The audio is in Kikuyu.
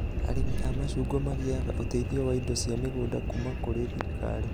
Arĩmi a macungwa magĩaga ũteithio wa indo cia mũgũnda kuma kũrĩ thirikari